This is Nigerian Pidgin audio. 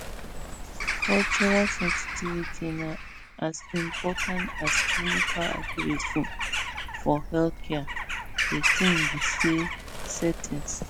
um cultural sensitivity na as important as clinical accuracy for healthcare de tin be say settings